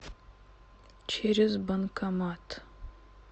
через банкомат